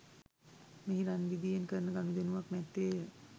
මෙහි රන් රිදියෙන් කරන ගනුදෙනුවක් නැත්තේ ය